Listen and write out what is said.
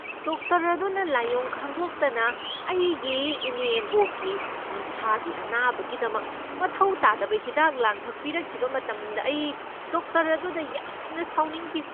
Doctor ꯑꯗꯨꯅ ꯂꯥꯏꯑꯣꯡ ꯈꯪꯗꯣꯛꯇꯅ ꯑꯩꯒꯤ ꯏꯅꯦꯝꯕꯣꯛꯀꯤ ꯎꯟꯁꯥꯒꯤ ꯑꯅꯥꯕꯒꯤꯗꯃꯛ ꯃꯊꯧ ꯇꯥꯗꯕ ꯍꯤꯗꯥꯛ ꯂꯥꯡꯊꯛ ꯄꯤꯔꯛꯈꯤꯕ ꯃꯇꯝꯗ ꯑꯩ ꯗꯣꯛꯇꯔ ꯑꯗꯨꯗ ꯌꯥꯝꯅ ꯁꯥꯎꯅꯤꯡꯈꯤ꯫